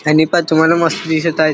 आणि पहा तुम्हाला मस्त दिसत आहेत.